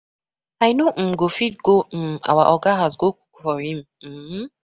I no um go fit go um our Oga house go cook for him um